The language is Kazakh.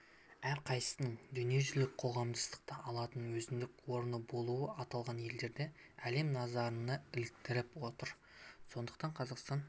әрқайсысының дүниежүзілік қоғамдастықта алатын өзіндік орны болуы аталған елдерді әлем назарына іліктіріп отыр сондықтан қазақстан